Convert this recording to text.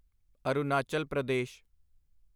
Arunachal Pradesh